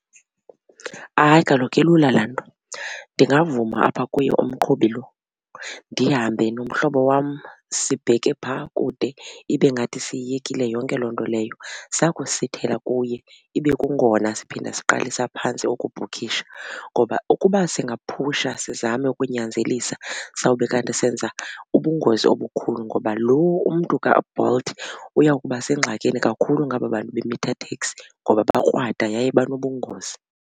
Hayi, kaloku ilula laa nto ndingavuma apha kuye umqhubi lo ndihambe nomhlobo wam sibheke phaa kude ibe ngathi siyiyekile yonke loo nto leyo. Sakusithela kuye ibe kungona siphinda siqalisa phantsi ukubhukhisha ngoba ukuba singaphusha sizame ukunyanzelisa sawube kanti senza ubungozi obukhulu ngoba lo umntu kaBolt uya kuba sengxakini kakhulu ngaba bantu be-meter taxi ngoba bakrwada yaye banobungozi.